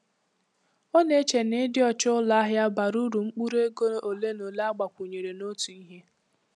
Ọ na-eche na ịdị ọcha ụlọ ahịa bara uru mkpụrụ ego ole na ole agbakwunyere n'otu ihe.